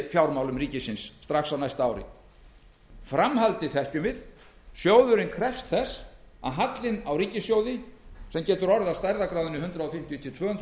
fjármálum ríkisins strax á næsta ári framhaldið þekkjum við sjóðurinn krefst þess að hallinn á ríkissjóði sem getur orðið af stærðargráðunni hundrað fimmtíu til tvö hundruð milljarðar